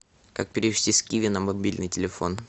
как перевести с киви на мобильный телефон